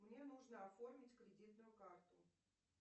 мне нужно оформить кредитную карту